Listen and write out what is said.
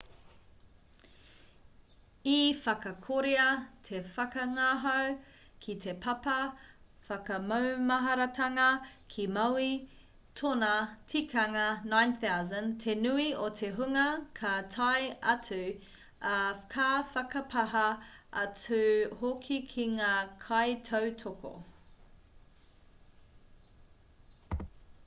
i whakakorea te whakangahau ki te papa whakamaumaharatanga ki maui tōna tikanga 9,000 te nui o te hunga ka tae atu ā ka whakapāha atu hoki ki ngā kaitautoko